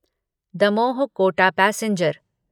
Damoh Kota passenger